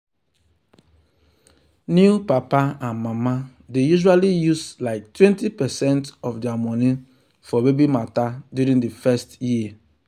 new papa and mama dey usually use like 20 percent of their money for baby matter during the first year.